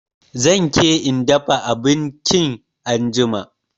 Zan ke in dafa abinchin anjima